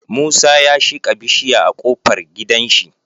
Musa ya shika bishiya a kofar gidan shi